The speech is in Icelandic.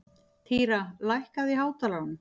Týra, lækkaðu í hátalaranum.